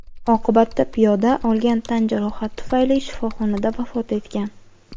Oqibatda piyoda olgan tan jarohati tufayli shifoxonada vafot etgan.